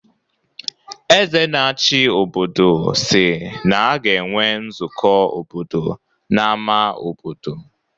Eze na-achi obodo si na a ga-enwe nzukọ obodo n’ámá obodo.